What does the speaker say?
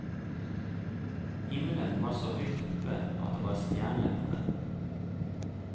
Himmelen var så høyt oppe, og det var stjerner på den.